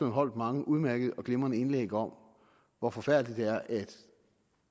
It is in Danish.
holdt mange udmærkede og glimrende indlæg om hvor forfærdeligt det er at